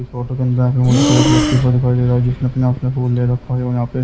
इस फोटो के अंदर दिखाई दे रहा है जिसने अपने हाथ में फूल ले रखा है और यहां पे--